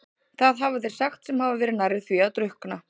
Það hafa þeir sagt sem hafa verið nærri því að drukkna.